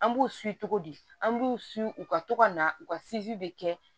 An b'u cogo di an b'u u ka to ka na u ka de kɛ